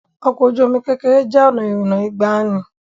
Ọkọ oju-omi kekere jẹ́ ọ̀nà ìrìnnà ìgbàanì.